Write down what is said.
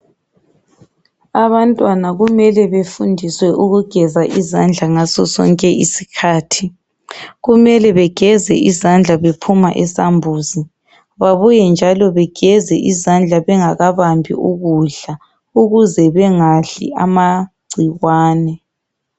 Abantwana kumele befundiswe ukugeza izandla ngaso sonke isikhathi kumele begeze izandla bephuma esambuzi babuye njalo begeze izandla bengakabambi ukudla ukuze bengadli amagcikwane